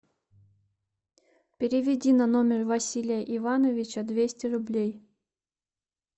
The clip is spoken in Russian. переведи на номер василия ивановича двести рублей